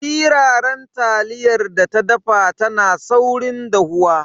Siraran taliyar da ta dafa tana saurin dahuwa.